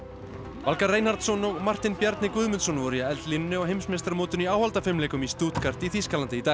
Valgarð Reinhardsson og Martin Guðmundsson voru í eldlínunni á heimsmeistaramótinu í áhaldafimleikum í Stuttgart í Þýskalandi í dag